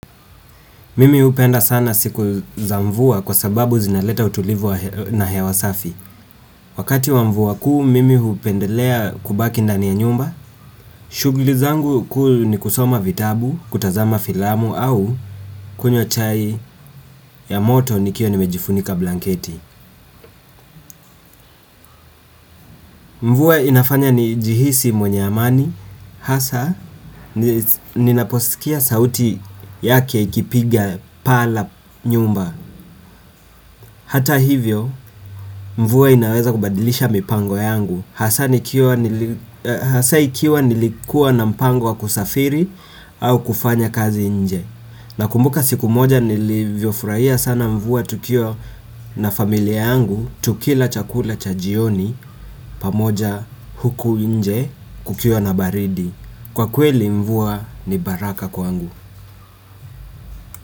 Mimi hupenda sana siku za mvua kwa sababu zinaleta utulivu na hewa safi. Wakati wa mvua kuu, mimi hupendelea kubaki ndani ya nyumba. Shughuli zangu kuu ni kusoma vitabu, kutazama filamu au kunywa chai ya moto nikiwa nimejifunika blanketi. Mvua inafanya nijihisi mwenye amani. Hasa, ninaposikia sauti yake ikipiga paa la nyumba. Hata hivyo mvua inaweza kubadilisha mipango yangu hasa nikiwa hasa ikiwa nilikuwa na mpango wa kusafiri au kufanya kazi nje. Nakumbuka siku moja nilivyofurahia sana mvua tukiwa na familia yangu. Tukila chakula cha jioni pamoja huku nje kukiwa na baridi. Kwa kweli mvua ni baraka kwangu.